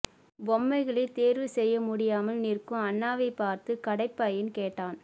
பொம்மைகளைத் தேர்வு செய்ய முடியாமல் நிற்கும் அன்னாவைப் பார்த்து கடைப்பையன் கேட்டான்